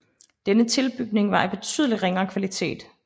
Denne tilbygning var af betydeligt ringere kvalitet